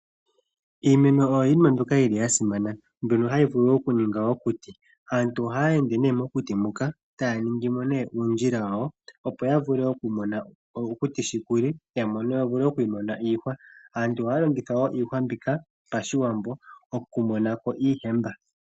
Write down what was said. Iimeno oya simana ohayi vulu oku ninga woo omiti. Aantu ohaya ende mokuti eta ya ningimo uundjila wawo opo ya vule oku mona okuti shi kuli. Aantu ohaya longitha woo iihwa mbika pashiwambo oku monako iigwangwa.